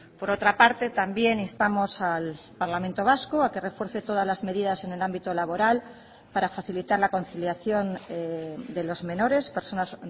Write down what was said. por otra parte también instamos al parlamento vasco a que refuerce todas las medidas en el ámbito laboral para facilitar la conciliación de los menores personas